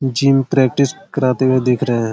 Gym practice कराते हुए दिख रहे।